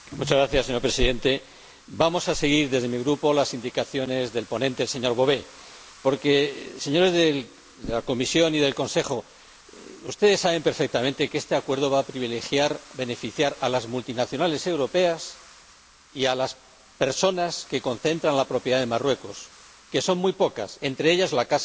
Señor Presidente, vamos a seguir desde mi Grupo las indicaciones del ponente, señor Bové, porque, señores de la Comisión y del Consejo, ustedes saben perfectamente que este acuerdo va a beneficiar a las multinacionales europeas y a las personas que concentran la propiedad en Marruecos, que son muy pocas, entre ellas la Casa